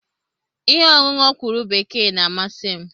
Ihe ọṅụṅụ ọkwụrụ bekee na-amasị m.